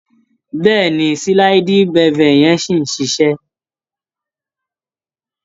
Bẹ́ẹ̀ni, sliding bevel yẹn ṣì ń ṣiṣé.